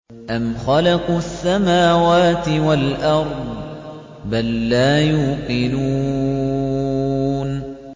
أَمْ خَلَقُوا السَّمَاوَاتِ وَالْأَرْضَ ۚ بَل لَّا يُوقِنُونَ